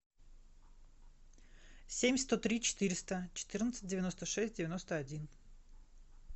семь сто три четыреста четырнадцать девяносто шесть девяносто один